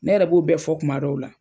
Ne yɛrɛ b'o bɛɛ fɔ kuma dɔw la.